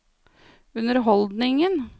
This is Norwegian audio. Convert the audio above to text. underholdningen